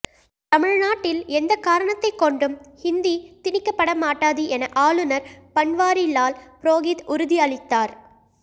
தமிழ்நாட்டில் எந்த காரணத்தைக் கொண்டும் இந்தி திணிக்கப்படமாட்டாது என ஆளுநர் பன்வாரிலால் புரோஹித் உறுதி அளித்தார்